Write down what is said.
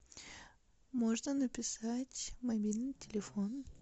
можно написать мобильный телефон